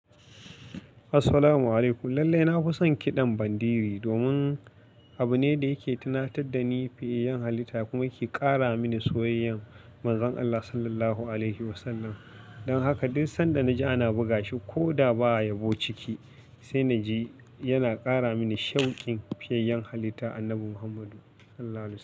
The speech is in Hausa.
Assalamu alaikum. Lallai na fi son kiɗan ban diri domin abu ne da yake tunatar da ni fiyayen halitta kuma yake ƙara mini soyayyan Manzon Allah Sallallahu Alaihi Wasallam. Don haka duk sanda na ji ana buga shi ko da ba a yabo ciki, sai na ji yana ƙara mini shaukin fiyayen halitta. Annabi Muhammadu Allah sallalahu.